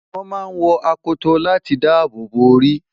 wọ́n máa ń wọ akoto láti dáàbòbò orí